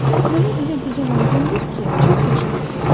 Mənə elə quzu lazımdır ki, çox yaşasın.